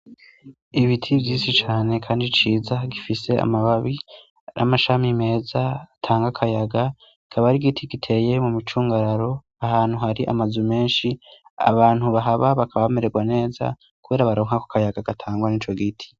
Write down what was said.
Ibiti vyisi cane, kandi ciza gifise amababi r'amashami meza atanga akayaga kabari igiti giteye mu micungararo ahantu hari amazu menshi abantu bahaba bakabamererwa neza, kubera baronka ku akayaga gatangwa ni co giti.